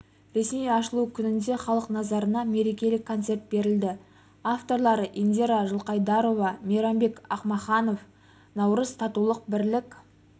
ресми ашылу күнінде халық назарына мерекелік концерт берілді авторлары индира жылқайдарова мейрамбек ақмаханов наурыз татулық бірлік